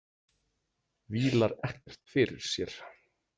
Vílar ekkert fyrir sér.